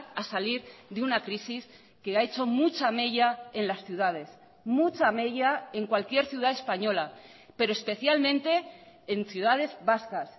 a salir de una crisis que ha hecho mucha mella en las ciudades mucha mella en cualquier ciudad española pero especialmente en ciudades vascas